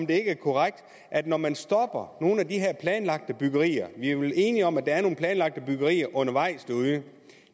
det er korrekt at når man stopper nogle af de her planlagte byggerier vi er vel enige om at der er nogle planlagte byggerier undervejs derude